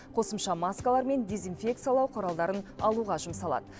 қосымша маскалар мен дезинфекциялау құралдарын алуға жұмсалады